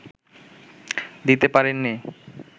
দিতে পারেননি